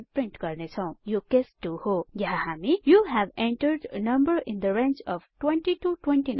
print गर्नेछौं यो case 2 हो यहाँ हामी you have entered number in the range of 20 29